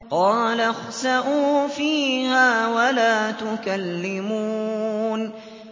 قَالَ اخْسَئُوا فِيهَا وَلَا تُكَلِّمُونِ